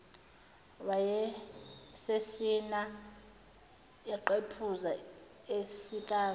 wayesesina eqephuza esikaza